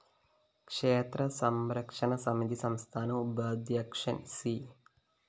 ക്ഷേത്രസംരക്ഷണ സമിതി സംസ്ഥാന ഉപാദ്ധ്യക്ഷന്‍ സി